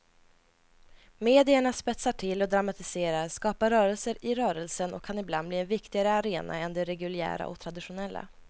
Medierna spetsar till och dramatiserar, skapar rörelser i rörelsen och kan ibland bli en viktigare arena än de reguljära och traditionella.